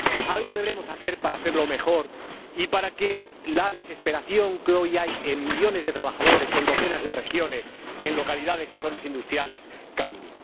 Algo deberemos hacer para hacerlo mejor y para que la desesperación que hoy cunde en millones de trabajadores, en docenas de regiones, en localidades y zonas industriales cambie.